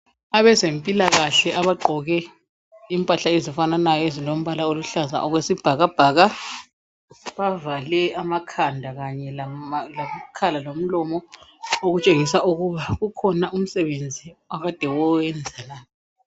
Abezempilakahle abagqoke impahla ezifananayo ezilombala oluhlaza okwesibhakabhaka, bavale amakhanda kanye lama lamakhala lomlomo okutshengisa ukuba ukhona umsebenzi abakade bewenza la.